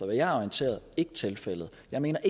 jeg er orienteret tilfældet jeg mener